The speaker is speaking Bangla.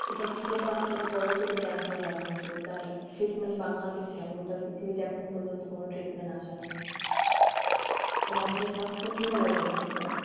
এটার থেকে তো আস্তে আস্তে বড় হতে হতে ক্যান্সার হয় মানুষের যার treatment বাংলাদেশে নেই গোটা পৃথিবীতে এখনো পর্যন্ত কোনো treatment আসে নাই তো মানুষের স্বাস্থ্য কিভাবে ভালো থাকবে